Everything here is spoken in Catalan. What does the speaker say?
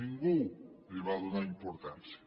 ningú li va donar importància